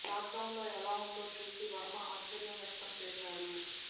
లాక్డౌన్లో ఎలా ఉందో చూసి వర్మ ఆశ్చర్యం వ్యక్తం చేశాడు